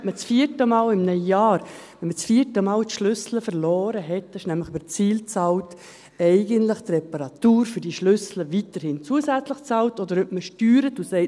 Man kann das vierte Mal in einem Jahr den Ersatz der Schlüssel weiterhin zusätzlich bezahlen – das wird nämlich über die SIL bezahlt –, oder man steuert und sagt: